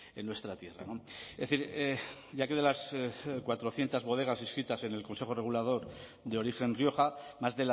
en nuestra tierra es decir ya que de las cuatrocientos bodegas inscritas en el consejo regulador de origen rioja más